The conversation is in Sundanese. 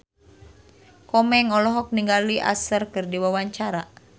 Komeng olohok ningali Usher keur diwawancara